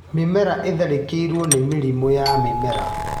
Mĩmera ĩtharĩkĩirwo nĩ mĩrimũ ya mĩmera.